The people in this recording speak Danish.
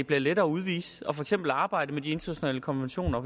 bliver lettere at udvise og for eksempel arbejde med de internationale konventioner